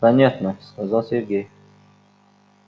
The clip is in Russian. понятно сказал сергей